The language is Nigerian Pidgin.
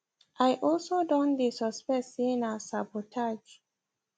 im also don dey suspect say na sabotage